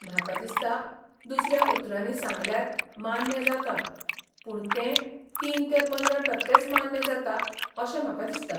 म्हाका दिसता दुसऱ्या उतरांनी सांगल्यार मान्य जाता, पूण तें तीन ते पंदरा टक्केच मान्य जाता अशें म्हाका दिसता.